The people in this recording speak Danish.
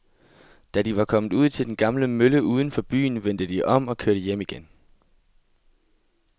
Da de var kommet ud til den gamle mølle uden for byen, vendte de om og kørte hjem igen.